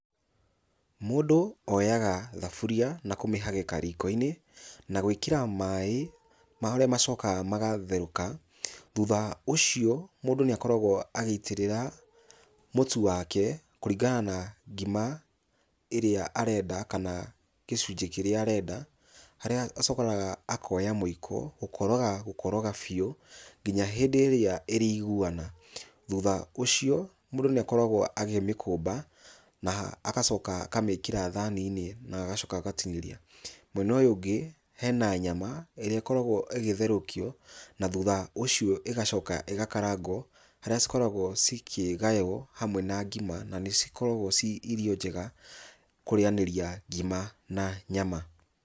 Mũndũ, oyaga thaburia, nakũmĩhagĩka rikoinĩ, na gwĩkĩra maĩ, marĩa macokaga magatherũka, thutha ũcio, mũndũ nĩakoragwo agĩitĩrĩra mũtu wake, kũringana na ngima, ĩrĩa arenda, kana gĩcunjĩ kĩrĩa arenda, harĩa acokaga mũiko, gũkoraga gũkoroga biũ, nginya hindĩ arĩa ĩrĩiguana. Thutha ũcio, mũndũ nĩakoragwo akĩmĩkũmba, na agacoka akamĩkĩra thaninĩ, na agacoka agatinĩria, Mwena ũyũ ũngĩ, hena nyama, ĩrĩa ĩkoragwo ĩgĩtherũkio, na thutha ũcio ĩgacoka ĩgakarangwo harĩa cikoragwo cikĩgaywo, hamwe na ngima na nĩcikoragwo ciĩ irio njega kũrĩanĩria ngima na nyama.